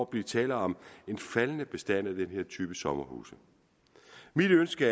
blive tale om en faldende bestand af den her type sommerhuse mit ønske